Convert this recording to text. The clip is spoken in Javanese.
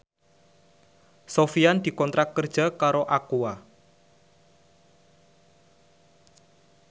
Sofyan dikontrak kerja karo Aqua